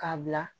K'a bila